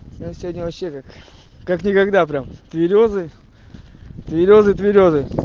сё сегодня вообще как как никогда прям берёзы берёзы берёзы